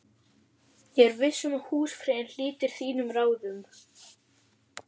Ég er viss um að húsfreyjan hlítir þínum ráðum